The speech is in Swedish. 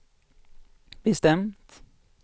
bestämt